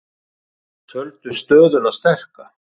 Töldu stöðuna sterka